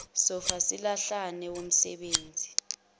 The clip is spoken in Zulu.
sofa silahlane womsebenzi